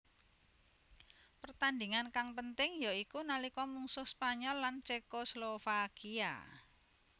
Pertandhingan kang penting ya iku nalika mungsuh Spanyol lan Cekoslovakia